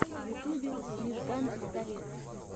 в ютубе мижган пистолет